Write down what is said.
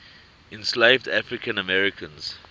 enslaved african americans